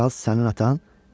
"Kral sənin atan?